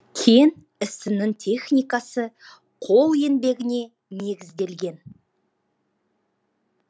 кен ісінің техникасы қол еңбегіне негізделген